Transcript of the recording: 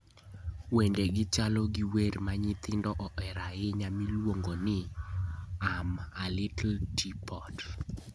Wendegi chalo gi wer ma nyithindo ohero ahinya miluongo ni "I'm A Little Teapot":